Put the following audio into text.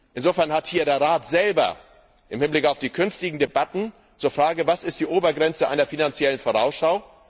Insofern hat hier der Rat selber im Hinblick auf die künftigen Debatten zur Frage Was ist die Obergrenze einer Finanziellen Vorausschau?